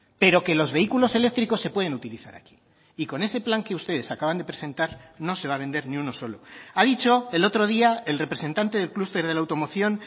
pero que los vehículos eléctricos se pueden utilizar aquí y con ese plan que ustedes acaban de presentar no se va a vender ni uno solo ha dicho el otro día el representante del clúster de la automoción